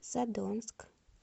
задонск